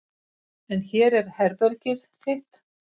En hér er herbergið þitt.